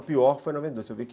O pior foi noventa e dois